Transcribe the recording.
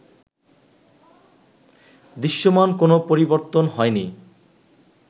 দৃশ্যমান কোন পরিবর্তন হয় নি